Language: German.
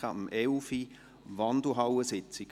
Bitte denken Sie daran.